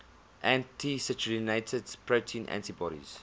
anti citrullinated protein antibodies